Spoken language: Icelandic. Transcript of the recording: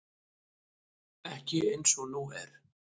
Ekki eins og nú er.